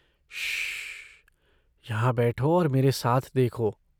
श्श्श! यहाँ बैठो और मेरे साथ देखो.